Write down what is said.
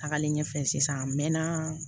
Tagalen ɲɛfɛ sisan a mɛɛnna